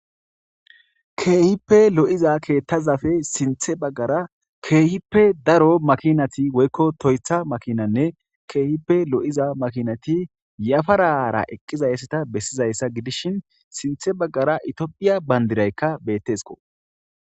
Kehippe loiza keththazappe sinththa baggara kehippe daro makinatinne daarot Toyota makinat kehippe loiza makinat yafarara eqizayisa besizayisa giddishini sinththte baggara tophphiya banidirayikka beteesikko